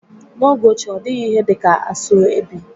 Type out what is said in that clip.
N'oge ochie, ọ dịghị ihe dị ka asoebi